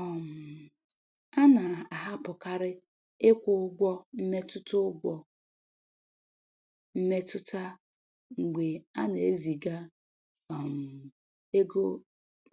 um A na-ahapụkarị ịkwụ ụgwọ mmetụta ụgwọ mmetụta mgbe ana-eziga um ego